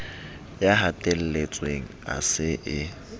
ya hatelletsweng a se a